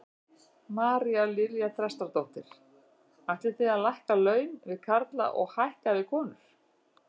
María Lilja Þrastardóttir: Ætlið þið að lækka laun við karla og hækka við konur?